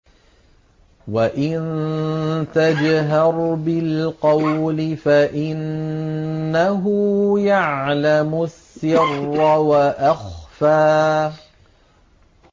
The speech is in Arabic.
وَإِن تَجْهَرْ بِالْقَوْلِ فَإِنَّهُ يَعْلَمُ السِّرَّ وَأَخْفَى